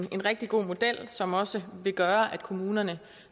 rigtig god model som også vil gøre at kommunerne